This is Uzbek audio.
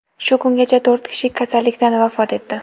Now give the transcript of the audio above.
Shu kungacha to‘rt kishi kasallikdan vafot etdi.